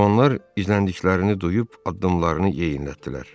Cavanlar izləndiklərini duyub addımlarını yeyinlətdilər.